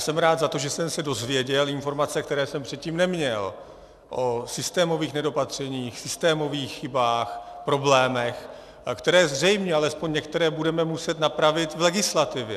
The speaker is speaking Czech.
Jsem rád za to, že jsem se dozvěděl informace, které jsem předtím neměl, o systémových nedopatřeních, systémových chybách, problémech, které zřejmě, alespoň některé, budeme muset napravit v legislativě.